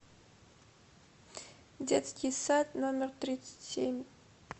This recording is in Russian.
детский сад номер тридцать семь